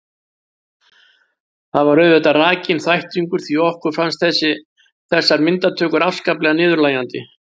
Það var auðvitað rakinn þvættingur því okkur fannst þessar myndatökur afskaplega niðurlægjandi.